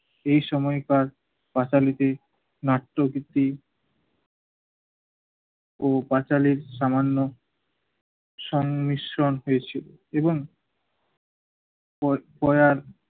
এই সময় তার পাঁচালীকে নাট্য ভিত্তি ও পাঁচালীর সামান্য সংমিশ্রণ পেয়েছিল এবং ওর ওরা